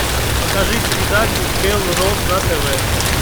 покажи передачу белрос на тв